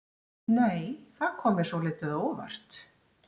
Nei! Það kom mér svolítið á óvart!